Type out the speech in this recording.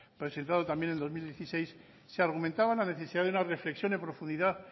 presentado también en el dos mil dieciséis se argumentaba la necesidad de una reflexión en profundidad